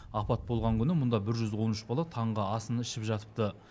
апат болған күні мұнда бір жүз он үш бала таңғы асын ішіп жатыпты